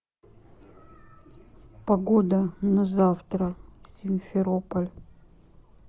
погода на завтра симферополь